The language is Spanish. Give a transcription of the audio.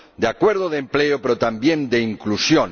de acuerdo, de empleo, pero también de inclusión.